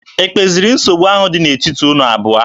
E kpeziri nsogbu ahụ dị n'etiti unu abụọ?